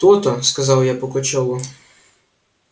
то-то сказал я пугачёву